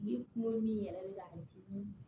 Ni kunkolo min yɛrɛ bɛ ka dimi